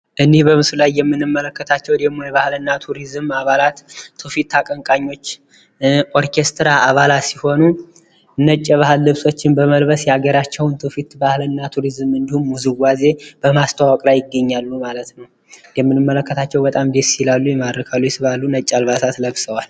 እኒህ በምስሉ ላይ የምንመለከታቸው ደግሞ የባህልና ቱሪዝም አባላት ፣ትውፊት አቀንቃኞች ፣ኦርኬስትራ አባላት ሲሆኑ ነጭ የባህል ልብሶችን በመልበስ የሀገራቸውን ትውፊት ባህልና ቱሪዝም እንዲሁም ውዝዋዜ በማስተዋወቅ ላይ ይገኛሉ ማለት ነው። እንደምንመለከታቸው በጣም ደስ ይላሉ፣ ይማርካሉ ፣ይስባሉ ነጭ አልባሳት ለብሰዋል።